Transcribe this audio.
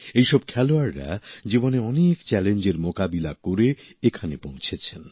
এই সব খেলোয়াড়রা জীবনের অনেক চ্যালেঞ্জের মোকাবিলা করে এখানে পৌঁছেছেন